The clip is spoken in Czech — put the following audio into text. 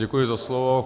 Děkuji za slovo.